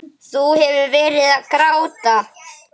Þú hefur verið að gráta!